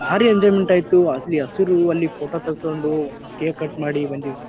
ಬಾರಿ ಎಂಜೋಯ್ಮೆಂಟ್ ಆಯಿತು ಅಲ್ಲಿ ಹಸಿರು ಅಲ್ಲಿ ಫೋಟೋ ತೇಗ್ಸ್ಕೊಂಡು ಕೇಕು ಕಟ್ ಮಾಡಿ ಬಂದ್ವಿ.